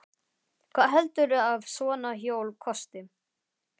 Hvað heldurðu að svona hjól kosti?